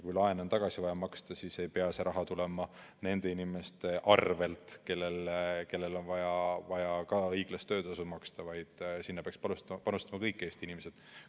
Kui laen on tagasi vaja maksta, siis ei pea see raha tulema nende inimeste arvel, kellele on vaja ka õiglast töötasu maksta, vaid sinna peaksid panustama kõik Eesti inimesed.